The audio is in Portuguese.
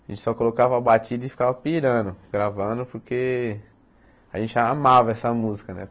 A gente só colocava a batida e ficava pirando, gravando, porque a gente amava essa música, né?